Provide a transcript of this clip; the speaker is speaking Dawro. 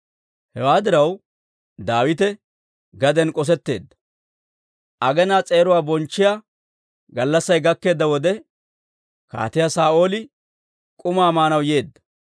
Hewaa diraw, Daawite gaden k'osetteedda. Aginaa s'eeruwaa bonchchiyaa gallassay gakkeedda wode, Kaatiyaa Saa'ooli k'umaa maanaw yeedda.